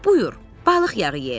“Buyur, balıq yağı ye.”